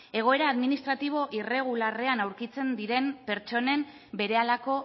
egoera administratibo irregularrean aurkitzen diren pertsonen berehalako